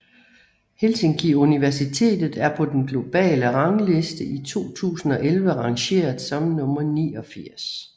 Helsinki Universitet er på den globale rangliste i 2011 rangeret som nummer 89